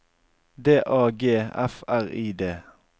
D A G F R I D